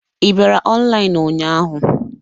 Ị bịara ọnlaịnụ ụnyahụ?